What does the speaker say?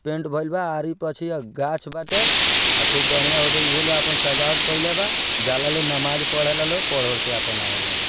Paint भइल बा आरी पाछे गाछ बाटे खूब बढ़िया औदे उहो लोग आपन सजावट केइले बा जाला लोग नमाज़ पढ़ेला लोग पढ़-उढ़ के अपन आवेला लोग।